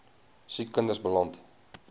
siek kinders beland